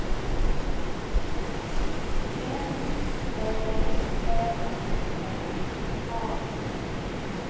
N Ä M N A